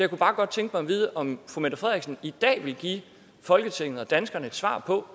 kunne bare godt tænke mig at vide om fru mette frederiksen i dag vil give folketinget og danskerne et svar på